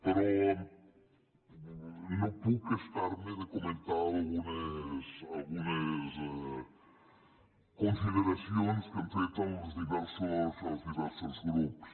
però no puc estar me de comentar algunes consideracions que han fet els diversos grups